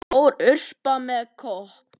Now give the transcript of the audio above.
Stór urta með kóp.